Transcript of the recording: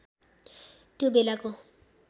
त्यो बेलाको